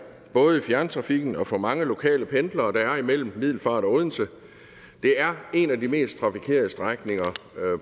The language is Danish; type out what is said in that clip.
både i fjerntrafikken og for de mange lokale pendlere der er mellem middelfart og odense det er en af de mest trafikerede strækninger